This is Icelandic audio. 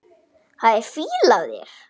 Það er fýla af þér.